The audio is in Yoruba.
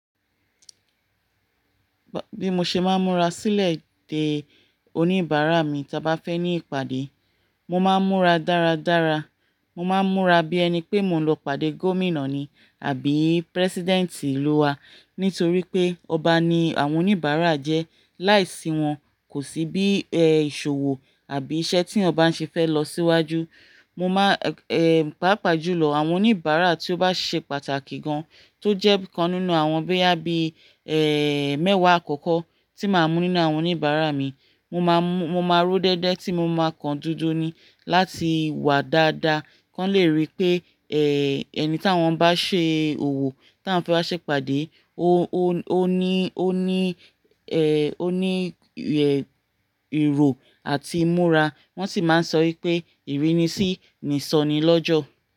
Bí mo ṣe máa ń múra sílẹ̀ dé oníbàárà mi, ta bá fẹ́ ní ìpàdé, mo máa ń múra dáradára. Mo máa ń múra bí ẹni pé mo ń lọ pàdé Gómìnà ni àbí President ìlú wa. Nítorí pé ọba ni àwọn oníbàárà jẹ́, láìsí wọn kò sí bí i è iṣòwò àbí iṣẹ́ tí yan ba ń ṣe fẹ́ lọ síwájú. Mo máa eh pàápàá jùlọ àwọn oníbàárà tí ó bá ṣe pàtàkì gan, tó jẹ́ bi kan nínú àwọn boyà bí i eh mẹ́wàá àkọ́kọ́ tí màá mú nínú àwọn oníbàárà mi. Mo máa mú, mo máa ró déédé tí mo máa kan dúdú ni láti wà dáadáa. Kán lè rí pé eh ẹni ta wọ́n bá ṣe òwò, ta wọ́n fẹ́ wá ṣe ìpàdé, ó ní, ó ní eh ó ní ihì ìrò àti ìmúra. Wọ́n sì máa ń sọ wípé ìrínisí ni sọnìí lọ́jọ́.